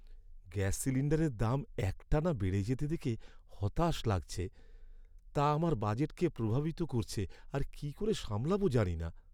Gas সিলিণ্ডারের দাম একটানা বেড়ে যেতে দেখে হতাশ লাগছে। তা আমার বাজেটকে প্রভাবিত করছে আর কী করে সামলাবো জানি না।